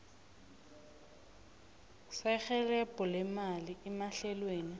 serhelebho lemali emahlelweni